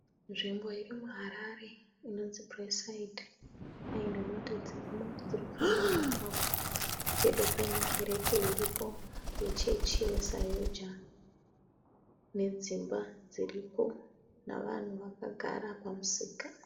Nzvimbo iri muHarare inonzi Braeside. Haina mota dzirimo dziri kufamba mumugwagwa pedo paine kereke iripo yechechi yeZaoga, nedzimba dziripo, navanhu vakagara pamusika.